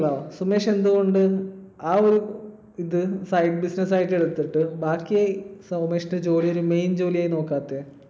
സുമേഷ് എന്തുകൊണ്ട് ആ ഒരു ഇത് side business ആയി എടുത്തിട്ട് ബാക്കി സുമേഷിന്റെ ജോലി ഒരു main ജോലിയായി നോക്കാത്തെ?